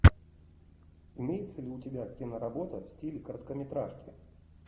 имеется ли у тебя киноработа в стиле короткометражки